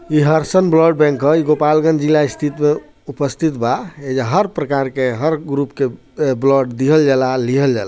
ये Harsan blood bank ह ई गोपालगंज जिला स्थित उपस्थित बा एजा हर प्रकार के हर ग्रुप के अ ब्लड दिहल जा ला लिहल जाला।